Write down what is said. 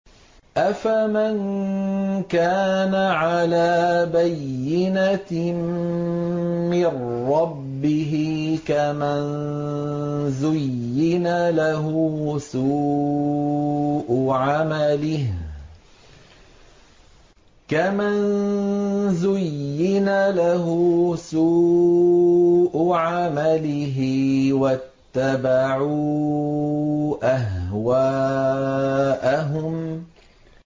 أَفَمَن كَانَ عَلَىٰ بَيِّنَةٍ مِّن رَّبِّهِ كَمَن زُيِّنَ لَهُ سُوءُ عَمَلِهِ وَاتَّبَعُوا أَهْوَاءَهُم